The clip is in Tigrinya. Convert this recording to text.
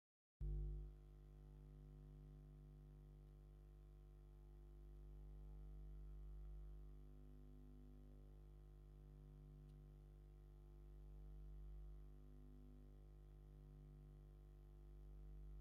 ብሩሽ ናይ ስኒ መሕፀቢ ካብ ጎማ ዝተሰረሓ ኮይኑ ንጥዕና ናይ ስኒና ብኮልጌት ሳሙና ስኒና ክንሓፅብ ከለና መሕፀቢ ዝጠቅመና ምኳኑ ትፈልጡ ዶ?